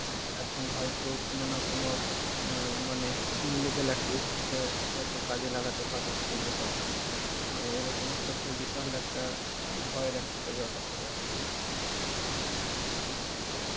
এখন হয়তো কোন না কোন অ্যাঁ মানে illegal activities এ হয়তো কাজে লাগাতে পারে এই data গুলো. তো এরকম একটা তো বিশাল একটা অ্যাঁ ভয়ের একটা ব্যাপার থেকে গেল.